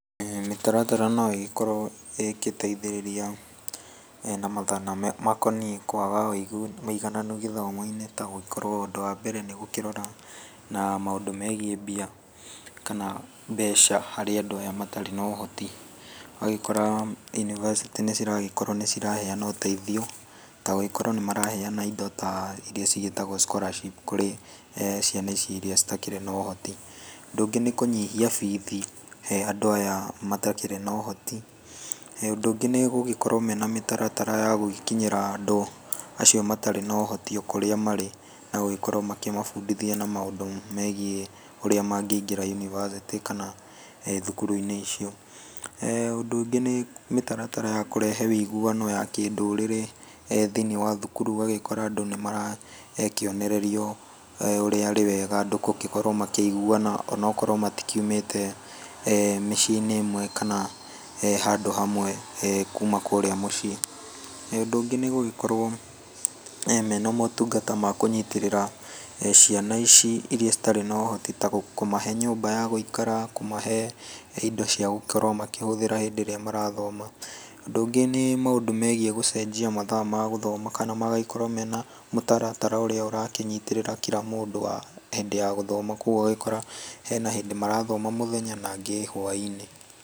Mĩtaratara no ĩgĩkorwo ĩgĩteithĩrĩria na mathĩna makoniĩ kwaga ũigananu gĩthomo-inĩ ta gũkorwo ũndũ wa mbere nĩ gũkĩrora na maũndũ megiĩ mbia kana mbeca harĩ andũ aya matarĩ no ũhoti. Ũgagĩkora yunibacĩtĩ nĩ ciragĩkorwo nĩ ciraheana ũteithio ta gũgĩkorwo nĩ maraheana indo ta irĩa cigĩtagwo scholarship kurĩ ciana ici irĩa citakĩrĩ na ũhoti. Ũndũ ũngĩ nĩ kũnyihia bithi he andũ aya matakĩrĩ na ũhoti. Ũndũ ũngĩ nĩ gũgĩkorwo me na mĩtaratara ya gũgĩkinyĩra andũ acio matarĩ na ũhoti o kũrĩa marĩ na gũgĩkorwo makĩmabundithia na maũndũ megiĩ ũrĩa mangĩingĩra yunibacĩtĩ kana thukuru-inĩ icio. Ũndũ ũngĩ nĩ mĩtaratara ya kũrehe ũiguano ya kindũrĩrĩ thĩiniĩ wa thukuru ũgagĩkora andũ nĩ marakĩonererio ũrĩa arĩ wega andũ gũgĩkorwo makĩiguana ona okorwo matikiumĩte mĩciĩ-inĩ ĩmwe kana handũ hamwe kuma kũrĩa muciĩ. Ũndũ ũngĩ nĩ gũgĩkorwo mena motungata ma kũnyitĩrĩra ciana ici irĩa citarĩ na ũhoti na kũmahe nyũmba ya gũikara, kũmahe indo cia gũkorwo makĩhũthĩra hĩndĩ ĩrĩa marathoma. Ũndũ ũngĩ nĩ maũndũ megiĩ gũcenjia mathaa ma gũthoma kana magagĩkorwo mena mũtaratara ũrĩa ũrakĩnyitĩrĩra kira mũndũ hĩndĩ ya gũthoma, kogwo ũgagĩkora hena hĩndĩ marathoma mũthenya na angĩ hwa-inĩ.